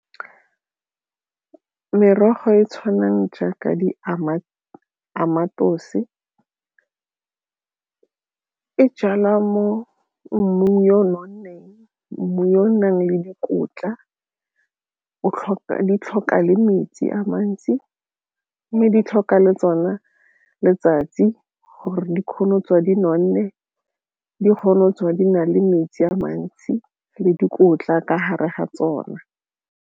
Merogo e e tshwanang jaaka di e jalwa mo mmung yo o nonneng mme yo o nang le dikotla o tlhoka le metsi a mantsi mme di tlhoka le tsona letsatsi gore dikgone go tswa di nonne di kgona go tswa di na le metsi a mantsi le dikotla ka gare ga tsona.